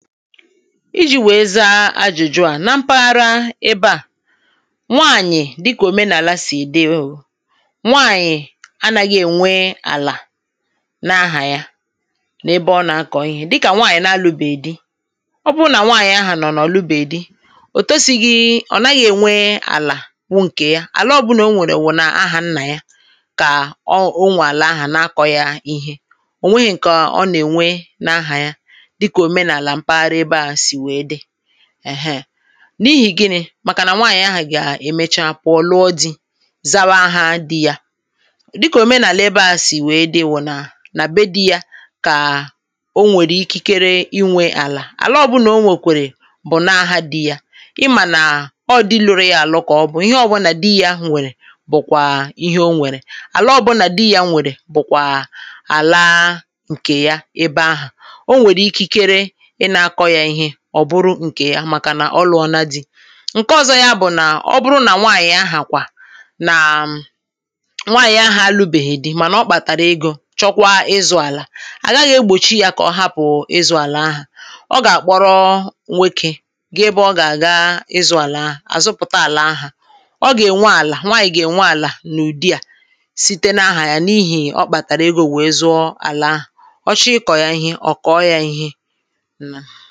iji̇ wèe za ajụ̀jụ à na mpaghara ebe à [paues]nwaànyì dịkà òmenàlà sì dị oò nwaànyị̀ anȧghị̇ ènwe àlà n’ahà ya n’ebe ọ nà-akọ̀ ihė dịkà nwaànyị̀ n’alụbèghi dị ọ bụrụ nà nwaànyị̀ ahà nọ̀ na ọ̀ lụbèghi dị òtosighi̇ ọ̀ naghị̇ ènwe àlà bụ ǹkè ya àla ọbụnà o nwèrè wụ̀ n’àhà nnà ya kà ọ o nwà àlà ahu n’akọ̇ yȧ ihe ò nweghị ǹkè ọ nà-ènwe n’ahà ya dika Omenala mpaghara ebe a sịrị dị èhe n’ihì gịnị̇ màkà nà nwaànyị̀ ahà gà-èmecha puọ lùo dị̇ zawa ahà dị yȧ dịkà òmenàlà ebe ahụ̀ sì wèe dị bụ̀ nà n’à be dị yȧ kà o nwèrè ikikere inwė àlà àla ọbụ nà o nwèkwèrè bụ̀ nà ahȧ dị yȧ ịmà nà ọ dịluru yȧ àlụ ka ọ bụ̇ ihe ọbụ nà dị yȧ nwèrè bụ̀kwà ihe o nwèrè àla ọbụ nà dị yȧ nwèrè bụ̀kwà àlà ǹkè ya ebe ahụ̀ ọ nwere ikikere ị na akọ ya ihe ọ bụrụ ǹkè ya màkànà ọ lụ̀ọna dị̇ ǹke ọ̀zọ ya bụ̀ nà ọ bụrụ nà nwaànyị̀ ahà kwà nàà[paues] nwaànyị̀ ahà alubèhi dị mànà ọ kpàtàrà egȯ chọkwa ịzụ̇ àlà à gaghị egbòchi ya kọ̀ọ hapụ̀ ịzụ̇ àlà ahụ ọ gà-àkpọrọ nwokė ge ebe ọ gà-àga ịzụ̇ àlà ahụ, àzụpụ̀ta àlà áhù ọ gà-ènwe àlà nwaànyị̀ gà-ènwe àlà n’ụ̀dịà site n’ahà ya nii̇hì ọ kpàtàrà egȯ wèe zụọ àlà ahụ ọ chọọ ikọ̀ ya ihe ọ̀ kọ̀ọ ya ihe